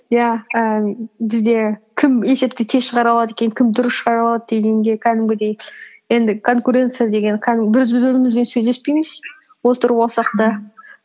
иә і бізде кім есепті тез шығара алады екен кім дұрыс шығара алады дегенде кәдімгідей енді конкуренция деген кәдімгі сөйлеспейміз болсақ та